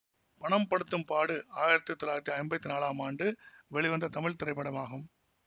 பணம் படுத்தும் பாடு ஆயிரத்தி தொள்ளாயிரத்தி ஐம்பத்தி நாலாம் ஆண்டு வெளிவந்த தமிழ் திரைப்படமாகும்